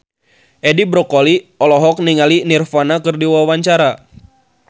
Edi Brokoli olohok ningali Nirvana keur diwawancara